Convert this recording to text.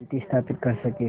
शांति स्थापित कर सकें